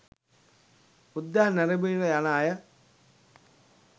උද්‍යානය නැරඹීමට යන අය